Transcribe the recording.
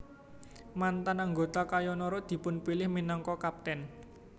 Mantan anggota Kayo Noro dipunpilih minangka kaptèn